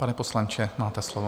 Pane poslanče, máte slovo.